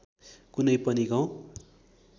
कुनै पनि गाउँ